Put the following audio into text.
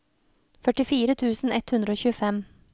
førtifire tusen ett hundre og tjuefem